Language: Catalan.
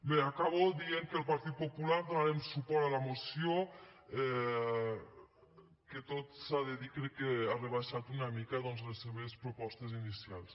bé acabo dient que el partit popular donarem suport a la moció que tot s’ha de dir crec que ha rebaixat una mica doncs les seves propostes inicials